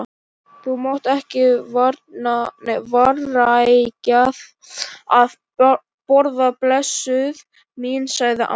Þú mátt ekki vanrækja að borða, blessuð mín, sagði amma.